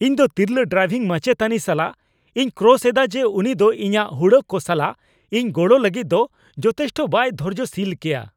ᱤᱧᱫᱚ ᱛᱤᱨᱞᱟᱹ ᱰᱨᱟᱭᱵᱷᱤᱝ ᱢᱟᱪᱮᱛᱟᱱᱤ ᱥᱟᱞᱟᱜ ᱤᱧ ᱠᱨᱚᱥ ᱮᱫᱟ ᱡᱮ ᱩᱱᱤ ᱫᱚ ᱤᱧᱟᱹᱜ ᱦᱩᱲᱟᱹᱜ ᱠᱚ ᱥᱟᱞᱟᱜ ᱤᱧ ᱜᱚᱲᱚ ᱞᱟᱹᱜᱤᱫ ᱫᱚ ᱡᱚᱛᱷᱮᱥᱴᱚ ᱵᱟᱭ ᱫᱷᱳᱨᱡᱳᱥᱤᱞ ᱜᱮᱭᱟ ᱾